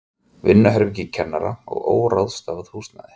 Vinnuherbergi kennara og óráðstafað húsnæði.